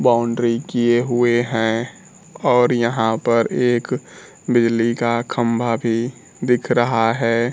Boundary किए हुए हैं और यहां पर एक बिजली का खंभा भी दिख रहा है।